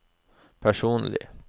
personlig